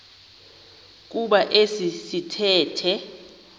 kuba esi sithethe